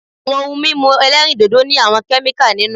Àwọn ohun mímu ẹlẹ́rìndòdò ní àwọn kẹ́míkà nínú.